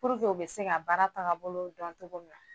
u bɛ se ka baara tagabolo dɔn cogo min na